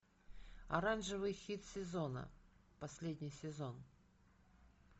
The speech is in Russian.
оранжевый хит сезона последний сезон